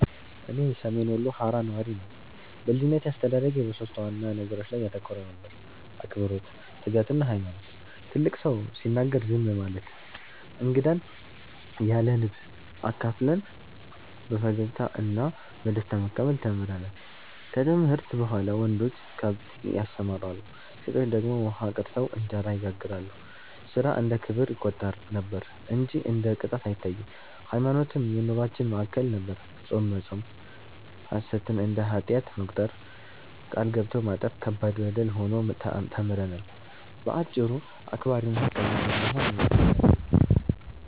እኔ ሰሜን ወሎ ሃራ ነዋሪ ነኝ። በልጅነቴ አስተዳደጌ በሦስት ዋና ነገሮች ላይ ያተኮረ ነበር፤ አክብሮት፣ ትጋትና ሃይማኖት። ትልቅ ሰው ሲናገር ዝም ማለት፣ እንግዳን ያለንብ አካፍለን በፈገግታ እና በደስታ መቀበል ተምረናል። ከትምህርት በኋላ ወንዶች ከብት ያሰማራሉ፣ ሴቶች ደግሞ ውሃ ቀድተው እንጀራ ይጋግራሉ፤ ሥራ እንደ ክብር ይቆጠር ነበር እንጂ እንደ ቅጣት አይታይም። ሃይማኖትም የኑሮአችን ማዕከል ነበር፤ ጾም መጾም፣ ሐሰትን እንደ ኃጢአት መቁጠር፣ ቃል ገብቶ ማጠፍ ከባድ በደል ሆኖ ተምረናል። በአጭሩ አክባሪና ሃቀኛ በመሆን ነው ያደግነው።